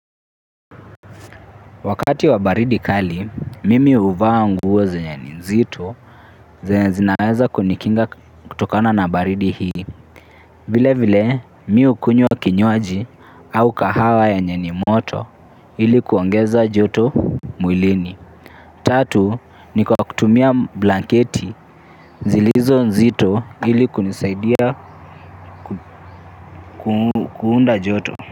Wakati wa baridi kali, mimi huvaa nguo zenye ni nzito, zenye zinaweza kunikinga kutokana na baridi hii. Vile vile, mimi hukunywa kinywaji au kahawa yenye ni moto ili kuongeza joto mwilini. Tatu, ni kwa kutumia blanketi zilizo nzito ili kunisaidia kuunda joto.